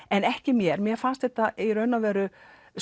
en ekki mér mér fannst þetta í raun og veru